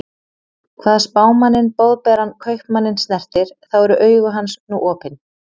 Hvað Spámanninn Boðberann Kaupmanninn snertir, þá eru augu hans nú opin.